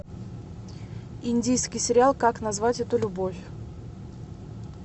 индийский сериал как назвать эту любовь